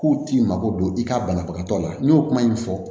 K'u t'i mako don i ka banabagatɔ la n'i y'o kuma in fɔ